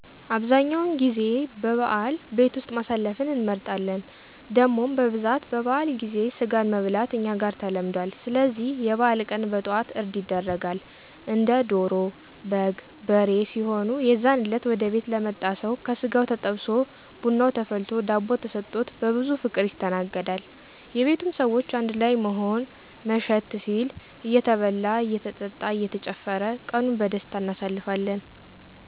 አብዛኛውን ጊዜ በበዓል ቤት ውስጥ ማሳለፍን እንመርጣለን። ደሞም በብዛት በበዓል ጊዜ ስጋን መብላት እኛ ጋር ተለምዱአል ስለዚህ የበዓል ቀን በጠዋት እርድ ይደረጋል። እንደ ዶሮ፣ በግ፣ በሬ ሲሆኑ የዛን እለት ወደ ቤት ለመጣ ሰው ከስጋው ተጠብሶ ብናው ተፈልቶ ዳቦ ተሰጥቾት በብዙ ፍቅር ይስተናገዳል። የቤቱም ሰዎች አንድ ላይ በመሆን መሸት ሲል እየተበላ እየተጠጣ እየተጨፈረ ቀኑን በደስታ አናሳልፋለን።